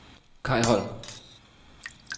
Kaj Holm